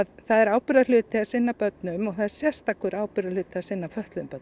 það er ábyrgðarhluti að sinna börnum og það er sérstakur ábyrgðarhluti að sinna fötluðum börnum